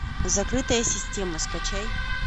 закрытая система скачай